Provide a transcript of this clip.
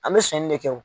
An bɛ sɔnni de kɛ o